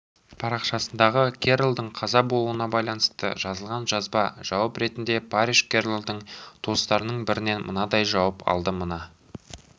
парақшасындағы керролдың қаза болуына байланысты жазылған жазбаға жауап ретінде парриш керролдың туыстарының бірінен мынадай жауап алды мына